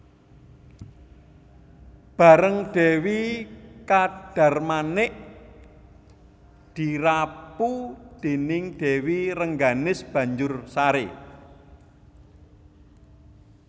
Bareng Dèwi Kadarmanik dirapu déning Dèwi Rengganis banjur saré